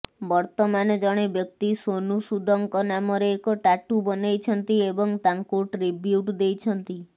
ବର୍ତ୍ତମାନ ଜଣେ ବ୍ୟକ୍ତି ସୋନୁ ସୁଦଙ୍କ ନାମରେ ଏକ ଟାଟୁ ବନେଇଛନ୍ତି ଏବଂ ତାଙ୍କୁ ଟ୍ରିବ୍ୟୁଟ୍ ଦେଇଛନ୍ତି